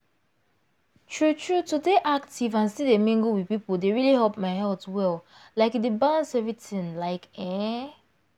true true to dey active and still dey mingle with people dey really help my health well like e balance everything like ehn.